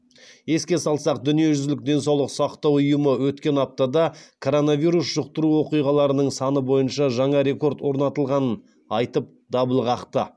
еске салсақ дүниежүзілік денсаулық сақтау ұйымы өткен аптада коронавирус жұқтыру оқиғаларының саны бойынша жаңа рекорд орнатылғанын айтып дабыл қақты